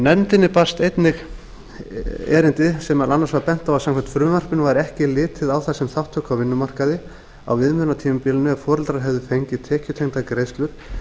nefndinni barst erindi þar sem meðal annars var bent á að samkvæmt frumvarpinu væri ekki litið á það sem þátttöku á vinnumarkaði á viðmiðunartímabilinu ef foreldrar hefðu fengið tekjutengdar greiðslur